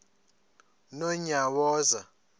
nonyawoza